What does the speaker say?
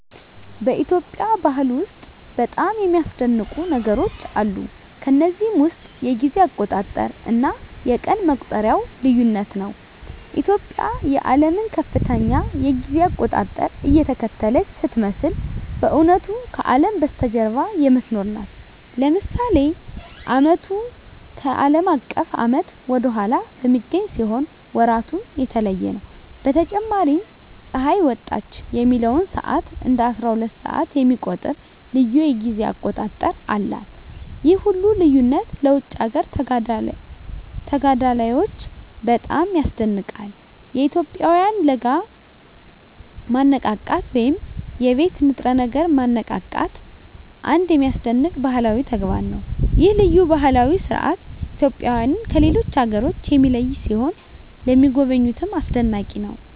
በኢትዮጵያ ባህል ውስጥ በጣም የሚያስደንቁ ነገሮች አሉ። ከነዚህም ውስጥ የጊዜ አቆጣጠር እና የቀን መቁጠሪያው ልዩነት ነው። ኢትዮጵያ የዓለምን ከፍተኛ የጊዜ አቆጣጠር እየተከተለች ስትመስል በእውነቱ ከአለም በስተጀርባ የምትኖር ናት። ለምሳሌ ዓመቱ ከአለም አቀፍ ዓመት ወደ ኋላ በሚገኝ ሲሆን ወራቱም የተለየ ነው። በተጨማሪም ፀሐይ ወጣች የሚለውን ሰዓት እንደ አስራሁለት ሰዓት የሚቆጥር ልዩ የጊዜ አቆጣጠር አላት። ይህ ሁሉ ልዩነት ለውጭ አገር ተጋዳላዮች በጣም ያስደንቃል። የኢትዮጵያውያን ለጋ ማነቃቃት ወይም የቤት ንጥረ ነገር ማነቃቃትም አንድ የሚያስደንቅ ባህላዊ ተግባር ነው። ይህ ልዩ ባህላዊ ሥርዓት ኢትዮጵያውያንን ከሌሎች አገሮች የሚለይ ሲሆን ለሚጎበኙትም አስደናቂ ነው።